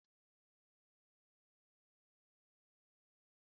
Kukis bụ ihe eji emeghari ọnụ